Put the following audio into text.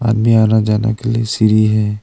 आदमी आना जाना के लिए सीढ़ी है।